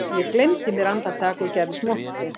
Ég gleymdi mér andartak og gerðist montinn